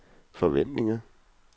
forventninger